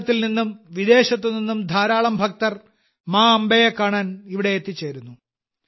ഭാരതത്തിൽ നിന്നും വിദേശത്തു നിന്നും ധാരാളം ഭക്തർ മാ അംബയെ കാണാൻ ഇവിടെ എത്തിച്ചേരുന്നു